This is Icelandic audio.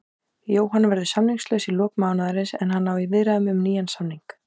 Jóhann verður samningslaus í lok mánaðarins en hann á í viðræðum um nýjan samning.